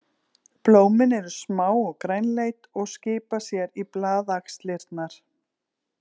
Blómin eru smá og grænleit og skipa sér í blaðaxlirnar.